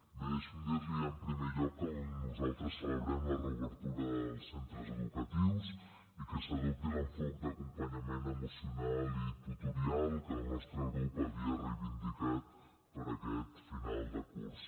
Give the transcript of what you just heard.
bé deixi’m dir li en primer lloc que nosaltres celebrem la reobertura dels centres educatius i que s’adopti l’enfocament d’acompanyament emocional i tutorial que el nostre grup havia reivindicat per a aquest final de curs